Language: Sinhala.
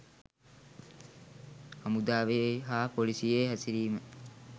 හමුදාවේ හා පොලිසියේ හැසිරීම